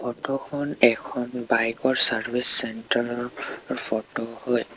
Photo খন এখন bike ৰ চাৰ্ভিচ চেণ্টাৰ ৰ ফটো হয়।